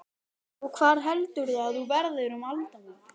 Og hvar heldurðu að þú verðir um aldamótin?